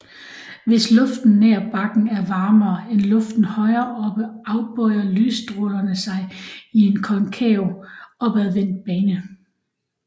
Hvis luften nær bakken er varmere end luften højere oppe afbøjer lysstrålerne sig i en konkav opadvendt bane